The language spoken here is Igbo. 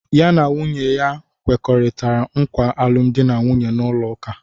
Ya na nwunye ya na-ekwekọrịta nkwa alụmdi na nwunye n'ụlọụka.